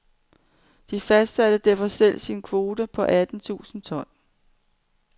De fastsatte derfor selv sin kvote på atten tusind ton.